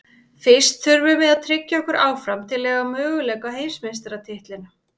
Fyrst þurfum við að tryggja okkur áfram til að eiga möguleika á heimsmeistaratitlinum.